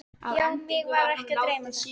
Já, mig var ekki að dreyma þetta.